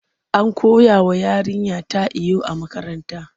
An koyawa yarinyata iyo a makaranta.